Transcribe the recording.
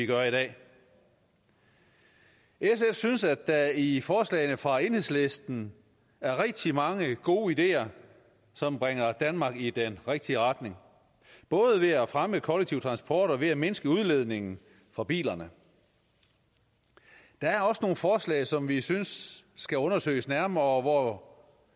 gør i dag sf synes at der i forslagene fra enhedslisten er rigtig mange gode ideer som bringer danmark i den rigtige retning både ved at fremme kollektiv transport og ved at mindske udledningen fra bilerne der er også nogle forslag som vi synes skal undersøges nærmere og hvor